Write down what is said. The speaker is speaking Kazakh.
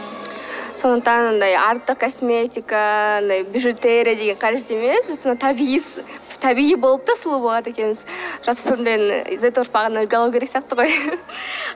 сондықтан андай артық косметика андай бижутерия деген қажет емес табиғи болып та сұлу болады екенбіз сияқты ғой